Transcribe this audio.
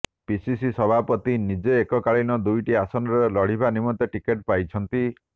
PCC ସଭାପତି ନିଜେ ଏକକାଳୀନ ଦୁଇଟି ଆସନରେ ଲଢ଼ିବା ନିମନ୍ତେ ଟିକେଟ୍ ପାଇଛନ୍ତି